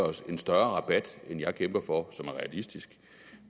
os en større rabat end jeg kæmper for som er realistisk